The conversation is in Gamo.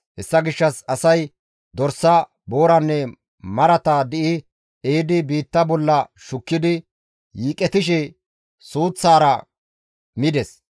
Hessa gishshas asay dorsa, booranne marata di7i ehidi biitta bolla shukkidi yiiqetishe suuththara mides.